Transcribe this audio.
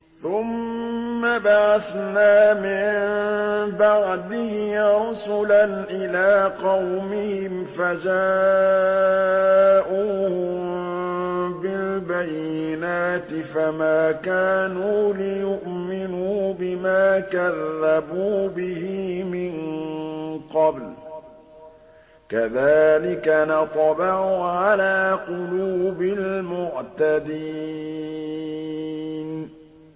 ثُمَّ بَعَثْنَا مِن بَعْدِهِ رُسُلًا إِلَىٰ قَوْمِهِمْ فَجَاءُوهُم بِالْبَيِّنَاتِ فَمَا كَانُوا لِيُؤْمِنُوا بِمَا كَذَّبُوا بِهِ مِن قَبْلُ ۚ كَذَٰلِكَ نَطْبَعُ عَلَىٰ قُلُوبِ الْمُعْتَدِينَ